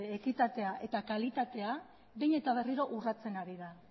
ekitatea eta kalitatea behin eta berriro urratsen ari da